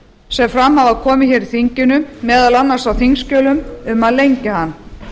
sem fram hafa komið hér í þinginu meðal annars á þingskjölum um að lengja hann